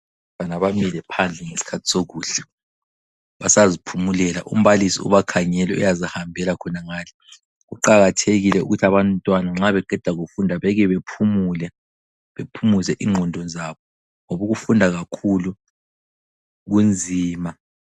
Abantwana bamile phandle ngesikhathi sokudla ,basaziphumulela umbalisi ubakhangele uyazihambela khona ngale. Kuqakathekile ukuthi abantwana nxa beqeda kufunda bekebephumule, bephumuze inqondo zabo ngoba ukufunda kakhulu kunzima.